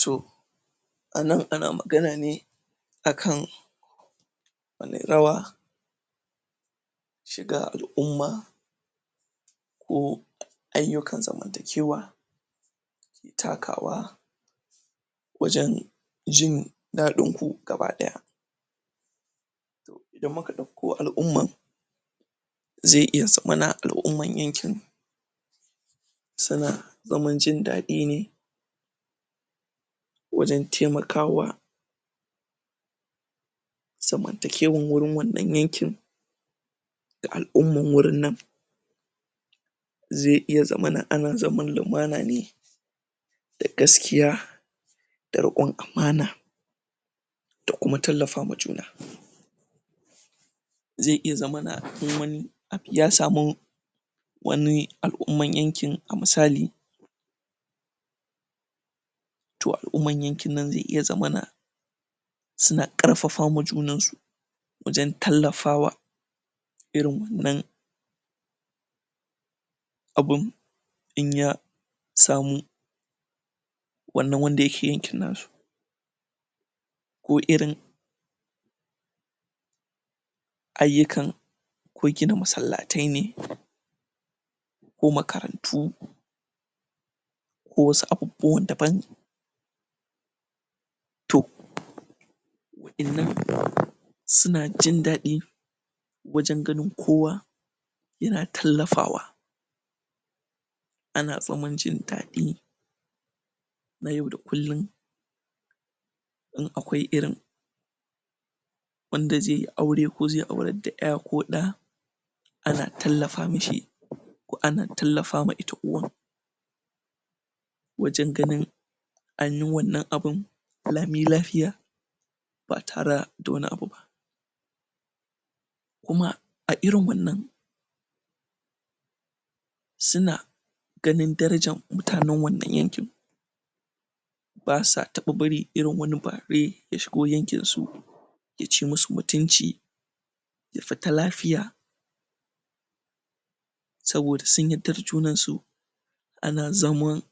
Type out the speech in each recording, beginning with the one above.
Toh anan ana magana ne akan wani rawa shiga al'umma koh.. aiyukan zamantakewa takawa wajen jin ɗadin ku gaba ɗaya idan muka dauko al'umman zai iya zamana al'umman yankin suna zaman jin ɗadi ne wajen taimakawa zamantakewan gurin wannan yankin da al'umman wurin nan zai iya zamana ana zaman lumana ne da gaskiya da rikon amana da kuma tallafawa juna zai iya zamana in wani abu ya sama wani al'umman yankin, a misali to al'umman yankin nan zai iya zamana suna Ƙarfafa ma junansu wajen tallafawa irin wannan abun inya samu wannan wanda yake yankin nasu ko irin aiyukan ko gina masallatai ne ko makarantu ko wasu abubuwa daban toh wa'annan suna jin ɗadi wajen ganin kowa yana na tallafawaa ana zaman jin ɗadi na yau da kullum in akwai irin wanda zai yi aure, ko zai aurar da ɗa ko ya ana tallafa mishi ko ana tallafa ma ita uwar wajen ganin anyi wannan abun lami lafiya ba tare da wani abu ba kuma, a irin wannan suna ganin darajan mutanen wannan yankin basa taɓa bari irin wani bare ya shigo yankinsu yaci musu mutunci ya fita lafiya saboda sun yarda da junansu ana zaman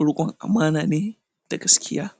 rikon amana ne da gaskiya